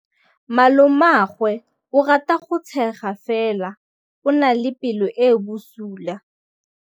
Malomagwe o rata go tshega fela o na le pelo e e bosula.